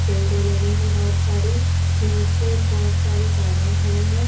Window लगी हैं बहुत सारी नीचे बहुत सारी गाड़ियाँ खड़ी हैं।